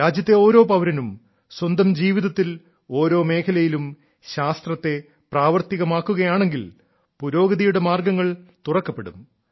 രാജ്യത്തെ ഓരോ പൌരനും സ്വന്തം ജീവിതത്തിൽ ഓരോ മേഖലയിലും ശാസ്ത്രത്തെ പ്രാവർത്തികമാക്കുകയാണെങ്കിൽ പുരോഗതിയുടെ മാർഗ്ഗങ്ങൾ തുറക്കപ്പെടും